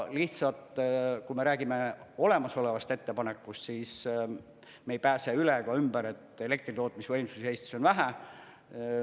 Lihtsalt, kui me räägime olemasolevast ettepanekust, siis me ei pääse üle ega ümber, et elektritootmisvõimsusi Eestis on veel vähe.